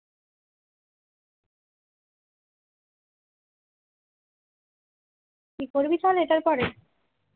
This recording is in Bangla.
কি করবি তাহলে এটার পরে